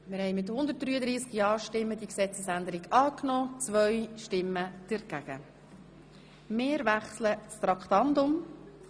Sie haben die Gesetzesänderung in erster und einziger Lesung angenommen.